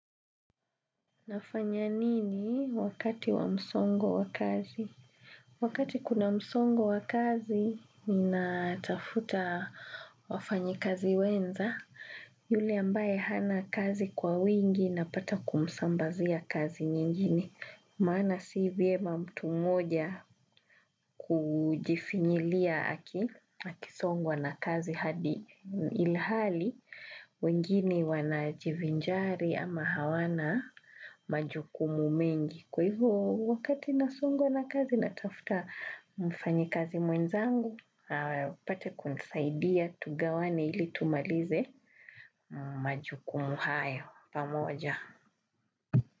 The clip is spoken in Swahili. Nafanya nini wakati wa msongo wa kazi? Wakati kuna msongo wa kazi, ninatafuta wafanyi kazi wenza. Yule ambaye hana kazi kwa wingi napata kumsambazia kazi nyingine. Maana si vyema mtu mmoja kujifinyilia aki, aki songwa na kazi hadi ilhali. Wegini wanajivinjari ama hawana majukumu mengi kwa hivyo wakati nasongwa na kazi natafuta mfanyi kazi mwenzangu. Apate kunisaidia tugawane ili tumalize majukumu hayo pamoja.